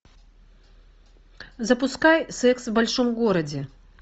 запускай секс в большом городе